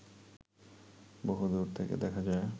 বহু দুর থেকে দেখা যায়